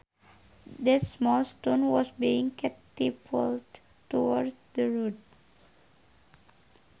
That small stone was being catapulted towards the road